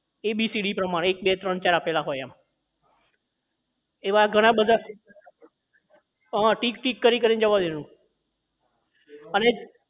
abcd પ્રમાણે એક બે ત્રણ ચાર આપેલા હોય એમ એવા ઘણા બધા હા હા tick tick કરીને જવા દેવાનું અને